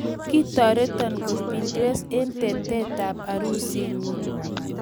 Kitoreto kot Pinterest eng tetetab arusinyu .